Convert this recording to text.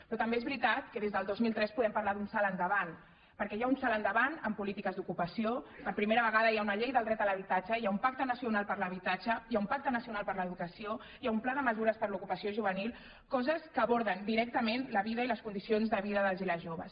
però també és veritat que des del dos mil tres podem parlar d’un salt endavant perquè hi ha un salt endavant en polítiques d’ocupació per primera vegada hi ha una llei del dret a l’habitatge hi ha un pacte nacional per a l’habitatge hi ha un pacte nacional per a l’educació hi ha un pla de mesures per a l’ocupació juvenil coses que aborden directament la vida i les condicions de vida dels i les joves